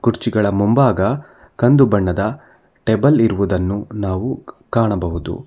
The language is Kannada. ಕುರ್ಚಿಗಳ ಮುಂಭಾಗ ಕಂದು ಬಣ್ಣದ ಟೇಬಲ್ ಇರುವುದನ್ನು ನಾವು ಕಾಣಬಹುದು.